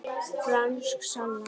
Franskt salat